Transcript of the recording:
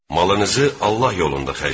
Malınızı Allah yolunda xərcləyin.